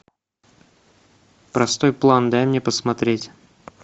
простой план дай мне посмотреть